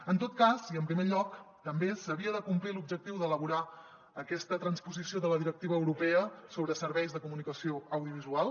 en tot cas i en primer lloc també s’havia de complir l’objectiu d’elaborar aquesta transposició de la directiva europea sobre serveis de comunicació audiovisual